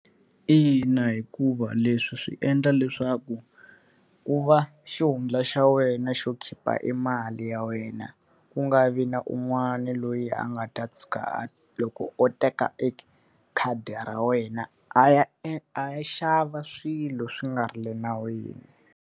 Ina, hikuva leswi swi endla leswaku ku va xihundla xa wena xo khipha e mali ya wena, ku nga vi na un'wana loyi a nga ta tshuka a loko o teka e khadi ra wena a ya a ya xava swilo swi nga ri enawini.